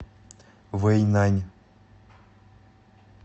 вэйнань